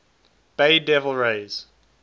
bay devil rays